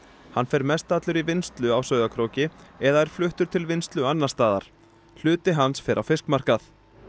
hann fer mestallur í vinnslu á Sauðárkróki eða er fluttur til vinnslu annars staðar hluti hans fer á fiskmarkað